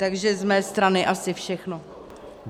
Takže z mé strany asi všechno.